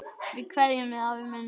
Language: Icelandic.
Við kveðjum þig, afi minn.